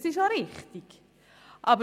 Das ist auch richtig so.